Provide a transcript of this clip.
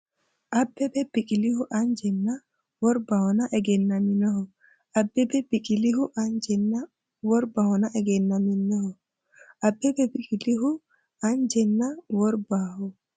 Abbebe Biqilihu anje nna wor- bahonna egennaminoho Abbebe Biqilihu anje nna wor- bahonna egennaminoho Abbebe Biqilihu anje nna wor- bahonna.